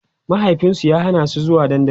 mahaifinsu ya Hana su zuwa dandali